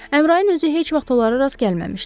Əmrayin özü heç vaxt onlara rast gəlməmişdi.